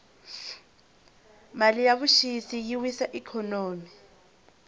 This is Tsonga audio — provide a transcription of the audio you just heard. mali ya vuxisi yi wisa ikhonomi